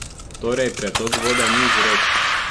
Torej, pretok vode ni vzrok!